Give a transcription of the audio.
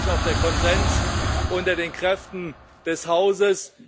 Das ist, glaube ich, auch der Konsens unter den Kräften des Hauses.